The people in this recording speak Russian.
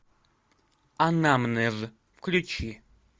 анамнез включи